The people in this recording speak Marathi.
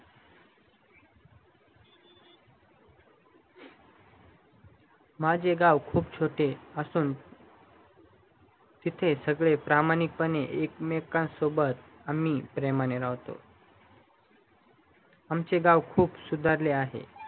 माझे गाव खूप छोटे असून तिथे आम्ही प्रामाणिक पने एकमेकांसोबत आम्ही प्रमाणे राहतो आमचे गाव खूप सुधारले आहे